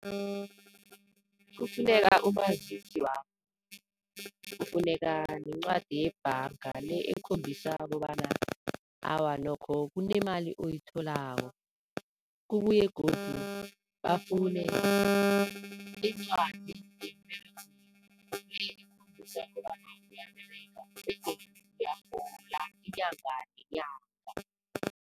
Kufuneka umazisi wakho, kufuneka nencwadi yebhanga le ekhombisa kobana awa nokho kunemali oyitholako, kubuye godu bafune incwadi yemberegweni le ekhombisa bonyana uyaberega begodu uyarhola inyanga nenyanga.